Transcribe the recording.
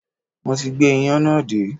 Mo ti gbé iyán náà dé